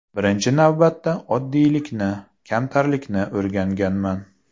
Birinchi navbatda oddiylikni, kamtarlikni o‘rganganman.